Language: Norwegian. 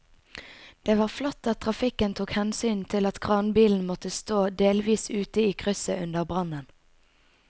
Det var flott at trafikken tok hensyn til at kranbilen måtte stå delvis ute i krysset under brannen.